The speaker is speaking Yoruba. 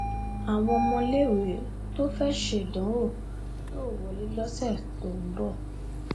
àwọn ọmọléèwé tó fẹẹ ṣèdánwò yóò wọlé lọsẹ tó ń bọ